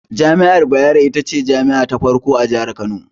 Jami'ar Bayero, ita ce jami'a ta farko a Jihar Kano.